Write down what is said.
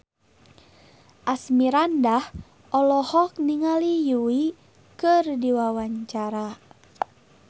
Asmirandah olohok ningali Yui keur diwawancara